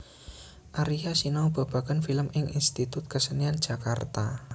Aria sinau babagan film ing Institut Kesenian Jakarta